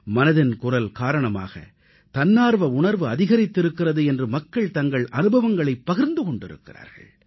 மனதின் குரல் காரணமாக தன்னார்வ உணர்வு அதிகரித்திருக்கிறது என்று மக்கள் தங்கள் அனுபவங்களைப் பகிர்ந்து கொண்டிருக்கிறார்கள்